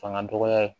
Fanga dɔgɔya ye